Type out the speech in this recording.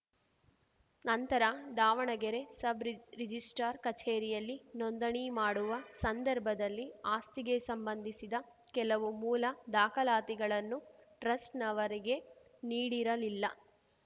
ನಂತರ ದಾವಣಗೆರೆ ಸಬ್‌ ರಿಜ್ ರಿಜಿಸ್ಟ್ರಾರ್‌ ಕಚೇರಿಯಲ್ಲಿ ನೋಂದಣಿ ಮಾಡುವ ಸಂದರ್ಭದಲ್ಲಿ ಆಸ್ತಿಗೆ ಸಂಬಂಧಿಸಿದ ಕೆಲವು ಮೂಲ ದಾಖಲಾತಿಗಳನ್ನು ಟ್ರಸ್ಟ್‌ನವರಿಗೆ ನೀಡಿರಲಿಲ್ಲ